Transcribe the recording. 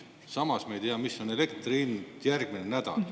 Samas me ei tea, mis on elektri hind järgmine nädal.